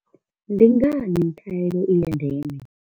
Ndi ngani khaelo i ya ndeme?